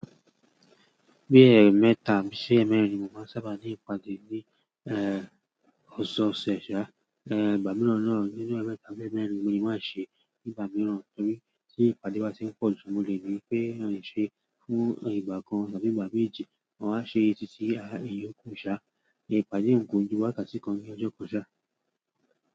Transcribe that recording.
Bí ẹẹmẹta sí ẹmẹrin mo máa sábà ní ìpàdé ní, ẹ, ọ̀sẹ̀ ọ̀sẹ̀. Ṣa, ẹ, ìgbà mìíràn náà nínú ẹẹmẹta sí ẹmẹrin mo lè má ṣe ní ìgbà mìíràn. Nítorí tí ìpàdé bá ti ń pọ̀ jù, mo lè rí pé à ń ṣe fún ìgbà kan tàbí ìgbà méje. Wọn á ṣe títí ayé kò ṣá. Ìpàdé nìkan ju wákàtí kan ní ọjọ́ kò ṣá.